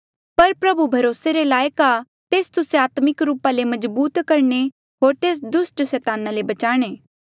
पर प्रभु भरोसे रे लायक आ तेस तुस्से आत्मिक रूपा ले मजबूत करणे होर तेस दुस्ट सैताना ले बचाणे